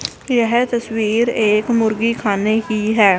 यह तस्वीर एक मुर्गी खाने की है।